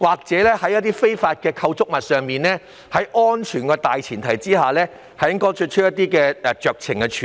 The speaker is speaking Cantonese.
就一些非法構築物，在顧及安全的大前提下應容許作出酌情處理。